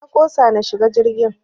Na ƙosa in shiga jirgin.